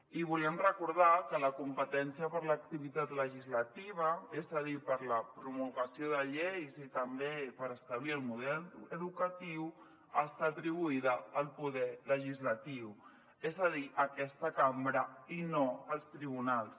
i volem recordar que la competència per a l’activitat legislativa és a dir per a la promulgació de lleis i també per establir el model educatiu està atribuïda al poder legislatiu és a dir a aquesta cambra i no als tribunals